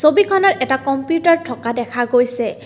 ছবিখনত এটা কম্পিউটাৰ থকা দেখা গৈছে।